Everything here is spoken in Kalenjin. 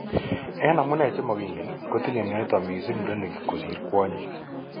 Eng' amune chemakingen kotinye mionitok mising murenik kosir kwonyik